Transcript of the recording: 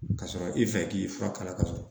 Ka sɔrɔ i fɛ k'i fura kala kasɔrɔ